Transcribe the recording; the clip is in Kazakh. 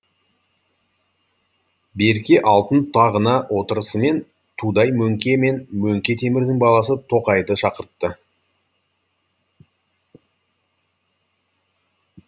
берке алтын тағына отырысымен тудай мөңке мен мөңке темірдің баласы тоқайды шақыртты